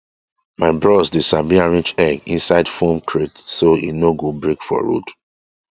my bros dey sabi arrange egg inside foam crate so e no go break for road